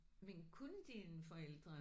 Men kunne dine forældre